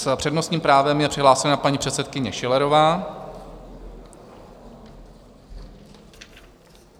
S přednostním právem je přihlášena paní předsedkyně Schillerová.